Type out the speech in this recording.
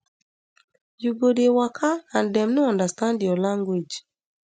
you go dey waka and dem no understand your language